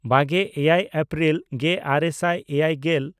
ᱵᱟᱜᱮᱼᱮᱭᱟᱭ April ᱜᱮᱼᱟᱨᱮ ᱥᱟᱭ ᱮᱭᱟᱭᱜᱮᱞ